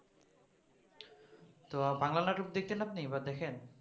তো বাংলা নাটক দেখতেন আপনি বা দেখেন?